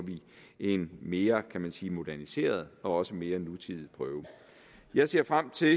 en mere kan man sige moderniseret og også mere nutidig prøve jeg ser frem til